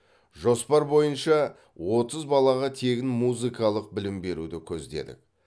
жоспар бойынша отыз балаға тегін музыкалық білім беруді көздедік